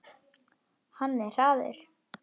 Hann er hraður.